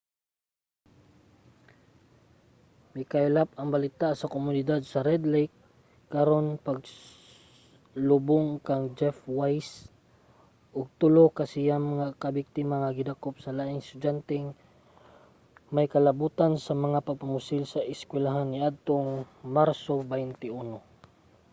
mikaylap ang balita sa komunidad sa red lake karon sa paglubong kang jeff weise ug tulo sa siyam ka biktima ang gidakop nga laing estudyanteng may kalabotan sa mga pagpamusil sa eskuwelahan niadtong marso 21